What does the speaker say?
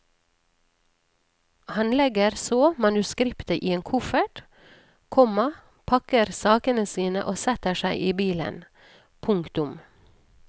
Han legger så manuskriptet i en koffert, komma pakker sakene sine og setter seg i bilen. punktum